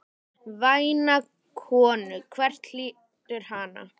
Væna konu, hver hlýtur hana?